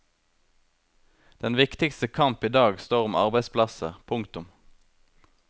Den viktigste kamp idag står om arbeidsplasser. punktum